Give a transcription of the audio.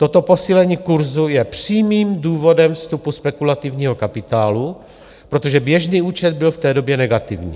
Toto posílení kurzu je přímým důvodem vstupu spekulativního kapitálu, protože běžný účet byl v té době negativní.